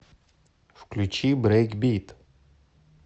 включи брейкбит